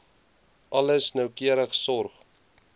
alles noukeurig sorg